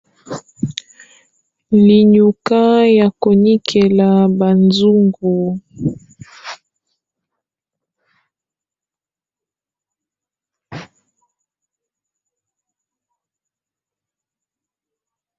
Linyuka ya konikela ba nzungu.